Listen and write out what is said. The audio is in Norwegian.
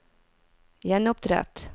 gjenopprett